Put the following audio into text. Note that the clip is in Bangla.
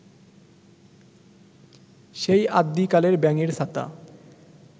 সেই আদ্যিকালের ব্যাঙের ছাতা